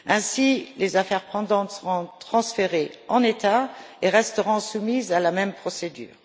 Ainsi, les affaires pendantes seront transférées en l'état et resteront soumises à la même procédure.